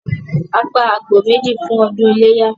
A pa àgbò méjì fún ọdún iléyá